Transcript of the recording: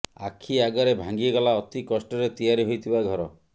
ଆଖି ଆଗରେ ଭାଙ୍ଗିଗଲା ଅତି କଷ୍ଟରେ ତିଆରି ହୋଇଥିବା ଘର